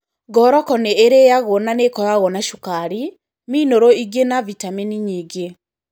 Ngoroco nĩ ĩrĩagwo na nĩ ĩkoragwo na cukari, minĩrũ ingĩ na vitamini nyingĩ.